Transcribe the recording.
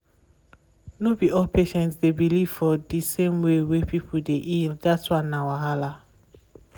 no be all patients dey believe for di same way wey pipo dey heal dat one na wahala.